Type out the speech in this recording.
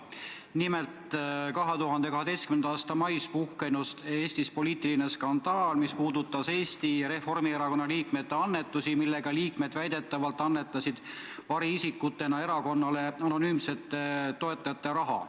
Nimelt, 2012. aasta mais puhkes Eestis poliitiline skandaal, mis puudutas Eesti Reformierakonna liikmete annetusi, millega liikmed väidetavalt annetasid variisikutena erakonnale anonüümsete toetajate raha.